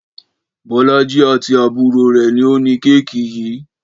Bọ́lájí àti àbúrò rẹ̀ ni ó ní kéèkì yìí